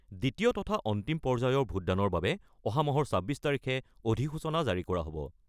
দ্বিতীয় তথা অন্তিম পৰ্যায়ৰ ভোটদানৰ বাবে অহা মাহৰ ২৬ তাৰিখে অধিসূচনা জাৰি কৰা হ'ব।